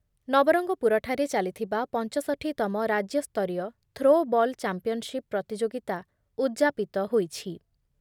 ନବରଙ୍ଗପୁରଠାରେ ଚାଲିଥିବା ପଞ୍ଚଷଠି ତମ ରାଜ୍ୟସ୍ତରୀୟ ଥ୍ରୋ ବଲ୍ ଚାମ୍ପିୟନସିପ୍ ପ୍ରତିଯୋଗିତା ଉଦ୍‌ଯାପିତ ହୋଇଛି ।